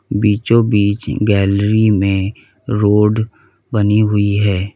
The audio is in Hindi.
बीचों बीच गैलरी में रोड बनी हुई है।